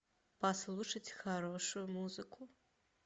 послушать хорошую музыку